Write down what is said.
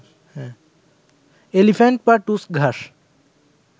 elephant বা টুসক ঘাস